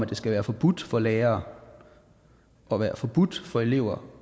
det skal være forbudt for lærere og være forbudt for elever